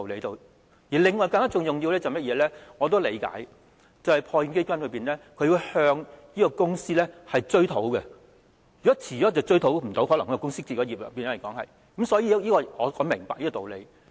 另外一個更重要的原因是——這個我也理解——破欠基金須向公司追討，如果遲了便無法追討，因為公司可能已經結業，所以我明白這個道理。